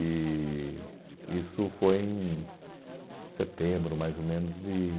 E isso foi em setembro, mais ou menos, de